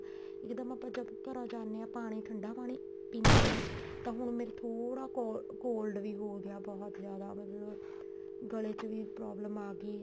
ਇੱਕਦਮ ਆਪਾਂ ਜਦ ਘਰਾ ਜਾਂਦੇ ਹਾਂ ਪਾਣੀ ਠੰਡਾ ਪਾਣੀ ਪੀਨੇ ਹਾਂ ਤਾਂ ਹੁਣ ਮੇਰੇ ਥੋੜਾ cold ਵੀ ਹੋਗਿਆ ਬਹੁਤ ਜਿਆਦਾ ਮਤਲਬ ਗਲੇ ਚ ਵੀ problem ਆਗੀ